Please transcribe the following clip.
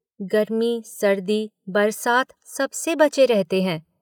गर्मी, सर्दी, बरसात सबसे बचे रहते हैं।